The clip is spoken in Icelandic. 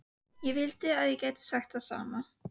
Ég vildi að ég gæti sagt það sama.